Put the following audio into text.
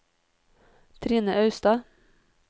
Trine Austad